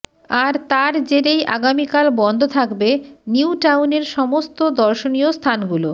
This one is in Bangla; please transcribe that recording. আর তার জেরেই আগামীকাল বন্ধ থাকবে নিউটাউনের সমস্ত দর্শনীয় স্থানগুলো